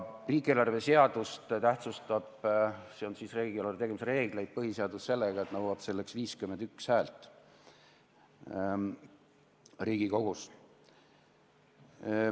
Riigieelarve seadust, s.o riigieelarve tegemise reegleid tähtsustab põhiseadus sellega, et nõuab 51 häält Riigikogus.